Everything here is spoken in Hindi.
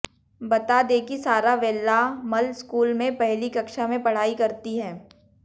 बता दें कि सारा वेल्लामल स्कूल में पहली कक्षा में पढ़ाई करती हैं